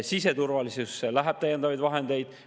Siseturvalisusse läheb täiendavaid vahendeid.